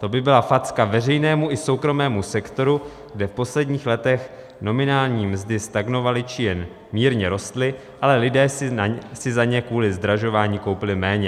To by byla facka veřejnému i soukromému sektoru, kde v posledních letech nominální mzdy stagnovaly, či jen mírně rostly, ale lidé si za ně kvůli zdražování koupili méně.